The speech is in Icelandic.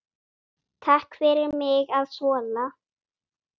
Takk fyrir mig að þola.